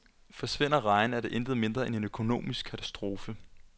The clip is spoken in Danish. Forsvinder rejen er det intet mindre end en økonomisk katastrofe.